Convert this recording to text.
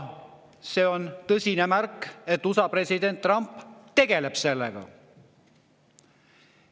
See on tõsine märk sellest, et USA president Trump tegeleb sellega.